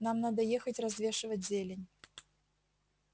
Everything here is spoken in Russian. нам надо ехать развешивать зелень